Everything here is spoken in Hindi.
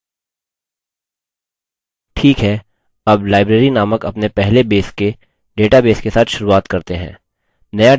ठीक है अब library नामक अपने पहले base के database के साथ शुरूआत करते हैं